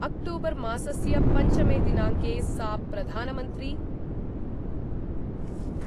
अक्टूबरमासस्य पञ्चमे दिनांके सा प्रधानमन्त्री